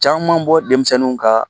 Caman bɔ denmisɛnninw ka